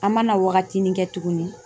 An mana wagati min kɛ tuguni